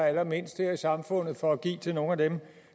allermindst her i samfundet for at give til nogle af dem